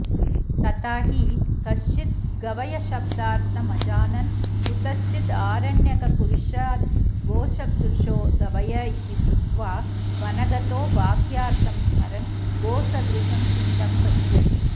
तथा हि कश्चिद्गवयशब्दार्थमजानन्कुतश्चिदारण्यकपुरुषाद्गोसदृशो गवय इति श्रुत्वा वन गतो वाक्यार्थं स्मरन्गोसदृशं पिण्डं पश्यति